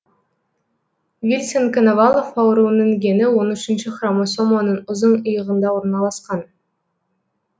вильсон коновалов ауруының гені он үшінші хромосоманың ұзын иығында орналасқан